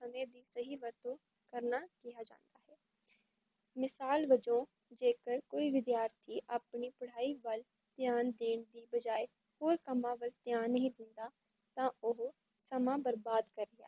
ਸਮੇ ਦੀ ਸਹੀ ਵਰਤੋਂ ਕਰਨਾ ਚਾਹੀਦਾ, ਮਿਸਾਲ ਵਾਜੋਂ ਜੇ ਕਰ ਕੋਈ ਵਿਦੀਆਰਥੀ ਆਪਣੀ ਪੜ੍ਹਾਈ ਵੱਲ ਧਿਆਨ ਦੇਣ ਦੇ ਬਜਾਏ ਕੋਈ ਕਮਾਂ ਵਿੱਚ ਧਿਆਨ ਨਹੀਂ ਦੇੰਦਾ ਤਾਂ ਓਹੋ ਸਮਾਂ ਬਰਬਾਦ ਕਰਦਾ